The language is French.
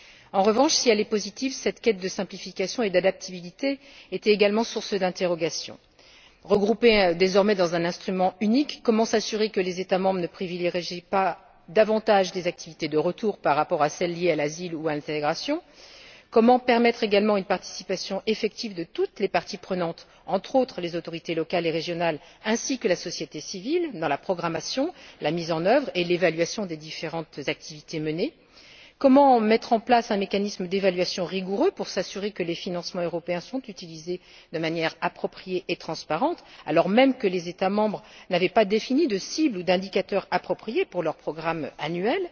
En revanche, si elle est positive, cette quête de simplification et d'adaptabilité était également source d'interrogations. Dès lors qu'elles sont désormais regroupées dans un instrument unique, comment s'assurer que les États membres ne privilégieraient pas davantage les activités de retour par rapport à celles liées à l'asile ou à l'intégration? Comment permettre également une participation effective de toutes les parties prenantes, entre autres les autorités locales et régionales, ainsi que la société civile, à la programmation, à la mise en œuvre et à l'évaluation des différentes activités menées? Comment mettre en place un mécanisme d'évaluation rigoureux pour s'assurer que les financements européens sont utilisés de manière appropriée et transparente, alors même que les États membres n'avaient pas défini d'objectifs ou d'indicateurs appropriés pour leur programme annuel?